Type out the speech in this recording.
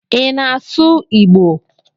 Ị na-asụ Igbo?